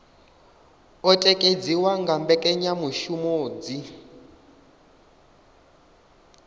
o tikedziwa nga mbekanyamushumo dzi